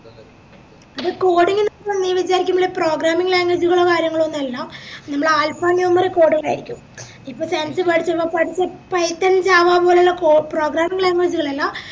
എടാ coding ന്നൊക്കെ പറഞ്ഞ നീ വിചാരിക്കുന്നെ പോലെ programming language കളോ കാര്യങ്ങളൊന്നല്ല പിന്നെ alpha numeric code കളാരിക്കും ഇപ്പൊ science പഠിച്ചേ python java പോലുള്ള പ്രൊ programming language അല്ല